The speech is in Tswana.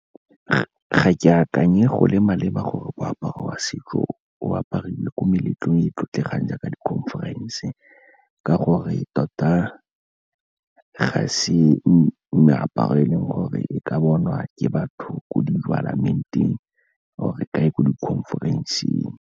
Ga ke akanye go le maleba gore moaparo wa setso o apariwe ko meletlong e e tlotlegang jaaka di-conference ka gore tota ga se meaparo e leng gore e ka bonwa ke batho ko di or-e kae ko di-conference-eng.